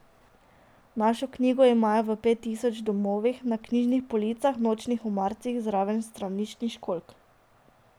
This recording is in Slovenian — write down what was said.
Našo knjigo imajo v pet tisoč domovih, na knjižnih policah, nočnih omaricah, zraven straniščnih školjk?